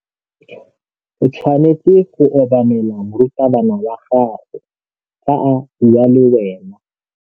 O tshwanetse go obamela morutabana wa gago fa a bua le wena.